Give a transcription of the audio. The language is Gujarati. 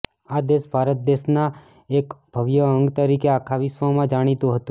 આ દેશ ભારત દેશ ના એક ભવ્ય અંગ તરીકે આખા વિશ્વ માં જાણીતું હતું